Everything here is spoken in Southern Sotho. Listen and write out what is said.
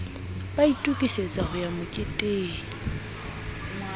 ba itokisetsa ho ya moketeng